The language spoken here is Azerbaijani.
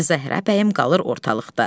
Zəhrabəyim qalır ortalıqda.